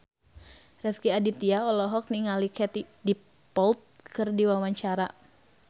Rezky Aditya olohok ningali Katie Dippold keur diwawancara